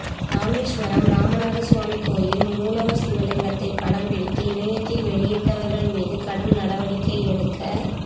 ராமேசுவரம் ராமநாத சுவாமி கோயில் மூலவா் சிவலிங்கத்தை படம் பிடித்து இணையதளத்தில் வெளியிட்டா்கள் மீது கடும் நடவடிக்கை எடுக்க